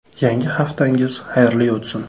Yangi haftangiz xayrli o‘tsin.